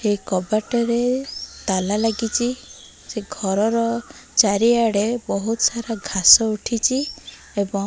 ଏହି କବାଟରେ ତାଲା ଲାଗିଚି ସେ ଘରର ଚାରିଆଡ଼େ ବୋହୁତ ସାରା ଘାସ ଉଠିଚି ଏବଂ --